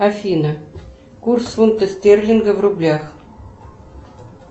афина курс фунта стерлинга в рублях